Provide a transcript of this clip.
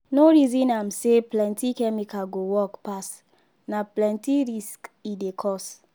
no reason am say plenty chemical go work pass. na plenty risk e dey cause.